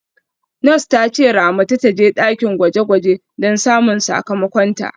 Nurse ta ce Ramatu ta je dakin gwaje-gwaje don samun sakamakonta.